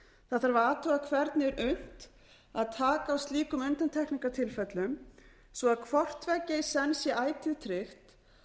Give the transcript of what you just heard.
það þarf að athuga hvernig er unnt að taka á slíkum undantekningartilfellum svo að hvort tveggja í senn sé ætíð tryggt